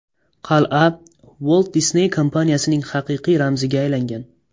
Qal’a Walt Disney kompaniyasining haqiqiy ramziga aylangan.